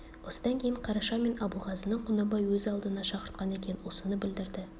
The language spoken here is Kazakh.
осыдан кейін қараша мен абылғазыны құнанбай өз алдына шақыртқан екен осыны білдірді